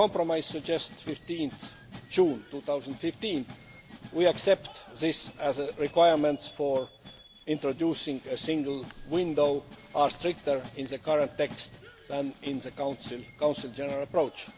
The compromise suggests 15 June 2015. We accept that the requirements for introducing a single window are stricter in the current text than in the Council's general approach.